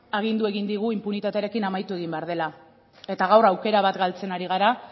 agindu egin digu inpunitatearekin amaitu egin behar dela eta gaur aukera bat galtzen ari gara